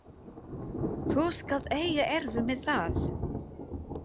Þú skalt eiga erfitt með það.